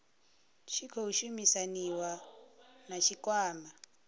tshi khou shumisaniwa na tshikwama